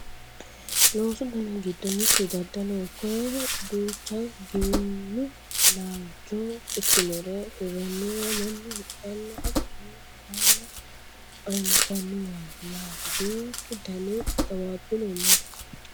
loosu dani giddo mittu daddaloho koyeeno duucha giwirinnu laalcho ikkinore hirranniwa mannu hidhanna hatton hiranna anfanniwaati yaate duuchu dani xawwaabbino no